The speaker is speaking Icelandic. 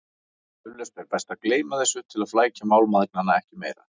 Eflaust er best að gleyma þessu til að flækja mál mæðgnanna ekki meira.